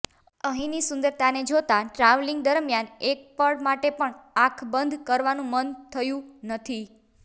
અહીંની સુંદરતાને જોતા ટ્રાવેલિંગ દરમિયાન એક પળ માટે પણ આંખ બંધ કરવાનું મન થયું નથી